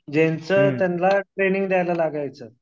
ज्यांचं त्यांला ट्रेनींग द्यायला लागायचं.